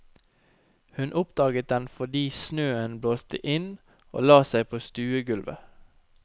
Hun oppdaget den fordi snøen blåste inn og la seg på stuegulvet.